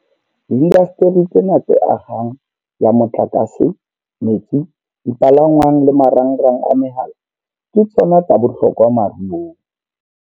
Diindasteri tsena tse akgang ya motlakase, metsi, dipalangwang le marangrang a mehala ke tsona tsa bohlokwa moruong.